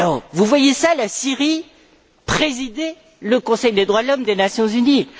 Vous voyez la Syrie présider le Conseil des droits de l'homme des Nations unies?